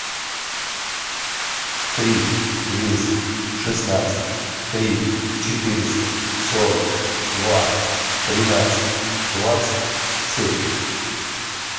три двести шестнадцать три четыреста сорок два тринадцать двадцать семь